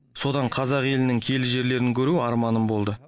содан қазақ елінің киелі жерлерін көру арманым болды